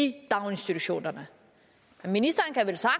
i daginstitutionerne ministeren